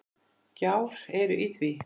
Gjár eru í því.